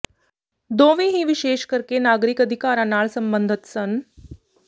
ਦੋਵੇਂ ਹੀ ਵਿਸ਼ੇਸ਼ ਕਰਕੇ ਨਾਗਰਿਕ ਅਧਿਕਾਰਾਂ ਨਾਲ ਸਬੰਧਤ ਸਨ